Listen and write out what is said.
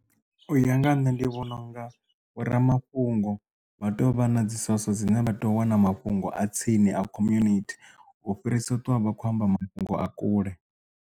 U ya nga ha nṋe ndi vhona unga vhoramafhungo vha tea u vha na dzi soso dzine vha tea u wana mafhungo a tsini a community u fhirisa u ṱwa vha khou amba mafhungo a kule.